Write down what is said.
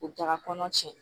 U taga kɔnɔ tiɲɛ